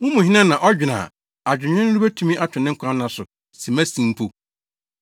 Mo mu hena na ɔdwene a adwennwene no betumi ato ne nkwa nna so simmasin mpo?